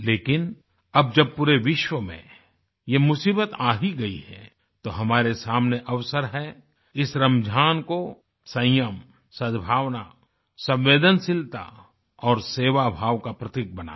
लेकिन अब जब पूरे विश्व में यह मुसीबत आ ही गई है तो हमारे सामने अवसर है इस रमज़ान को संयम सद्भावना संवेदनशीलता और सेवाभाव का प्रतीक बनाएं